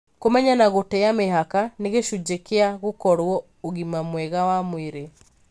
Kũmenya na gũtĩa mĩhaka nĩ gĩcunjĩ kĩa gũkorwo ũgima mwega wa mwĩrĩ.